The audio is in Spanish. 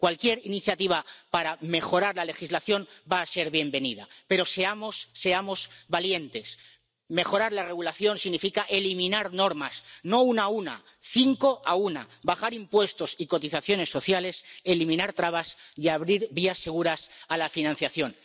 Cualquier iniciativa para mejorar la legislación va a ser bienvenida, pero seamos valientes. Mejorar la regulación significa eliminar normas, no una a una, cinco a una, bajar impuestos y cotizaciones sociales, eliminar trabas y abrir vías seguras a la financiación.